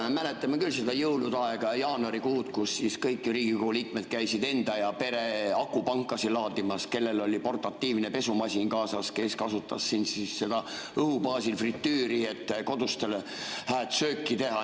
Me mäletame küll seda jõuluaega, jaanuarikuud, kui kõik Riigikogu liikmed käisid enda ja pere akupanku laadimas, kellel oli portatiivne pesumasin kaasas, kes kasutas seda õhu baasil fritüüri, et kodustele hääd sööki teha.